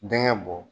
Denkɛ bɔ